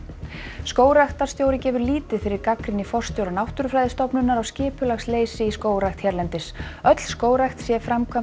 skógræktarstjóri gefur lítið fyrir gagnrýni forstjóra Náttúrufræðistofnunar á skipulagsleysi í skógrækt hérlendis öll skógrækt sé